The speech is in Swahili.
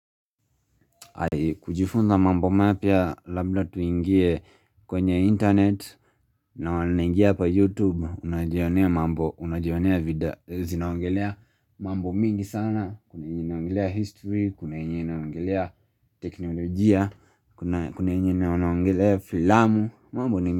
Kujifunza mambo mapya labla tuingie kwenye internet na wanangia kwa youtube unajionia mambo unajionia video zinaongelea mambo mingi sana Kuna yenye inaongelea history kuna yenye inaongelea teknologia kuna yenye wanaongelea filamu.